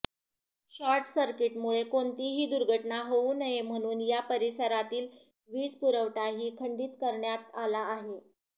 short सर्किटमुळे कोणतीही दुर्घटना होऊ नये म्हणून या परिसरातील वीज पुरवठाही खंडीत करण्यात आला आहे